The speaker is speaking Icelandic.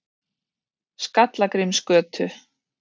Skallagrímsgötu